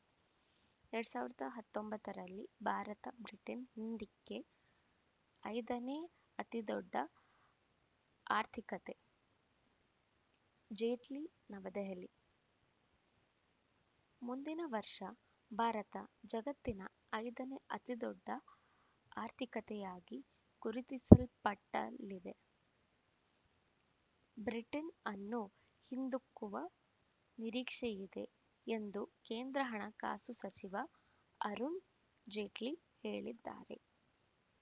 ಎರಡ್ ಸಾವಿರದ ಹತ್ತೊಂಬತ್ತರಲ್ಲಿ ಭಾರತ ಬ್ರಿಟನ್‌ ಹಿಂದಿಕ್ಕಿ ಐದನೇ ಅತಿದೊಡ್ಡ ಆರ್ಥಿಕತೆ ಜೇಟ್ಲಿ ನವದೆಹಲಿ ಮುಂದಿನ ವರ್ಷ ಭಾರತ ಜಗತ್ತಿನ ಐದನೇ ಅತಿದೊಡ್ಡ ಆರ್ಥಿಕತೆಯಾಗಿ ಗುರುತಿಸಲ್ಪಟ್ಟಲಿದೆ ಬ್ರಿಟನ್‌ ಅನ್ನು ಹಿಂದಿಕ್ಕುವ ನಿರೀಕ್ಷೆಯಿದೆ ಎಂದು ಕೇಂದ್ರ ಹಣಕಾಸು ಸಚಿವ ಅರುಣ್‌ ಜೇಟ್ಲಿ ಹೇಳಿದ್ದಾರೆ